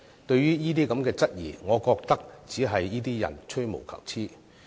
對於這些質疑，我覺得只是這些人吹毛求疵。